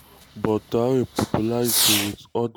but traoré popularity wit ordinary pipo get comma.